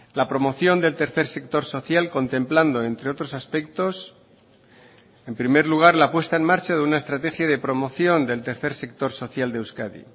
la promoción del tercer sector social contemplando entre otros aspectos en primer lugar la puesta en marcha de una estrategia de promoción del tercer sector social de euskadi